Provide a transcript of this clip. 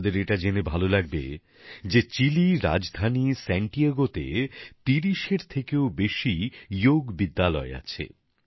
আপনাদের এটা জেনে ভালো লাগবে যে চিলির এ রাজধানী স্যান্টিয়াগোতে ৩০ এর থেকেও বেশি যোগ বিদ্যালয় আছে